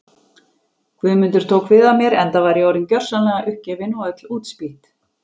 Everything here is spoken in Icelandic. Guðmundur tók við af mér enda var ég orðin gjörsamlega uppgefin og öll útspýtt.